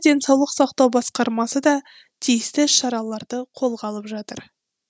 денсаулық сақтау басқармасы да тиісті іс шараларды қолға алып жатыр